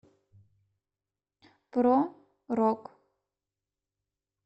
про рок